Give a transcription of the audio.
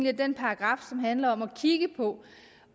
at den paragraf som handler om at kigge på